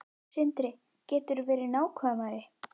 Sindri: Geturðu verið nákvæmari?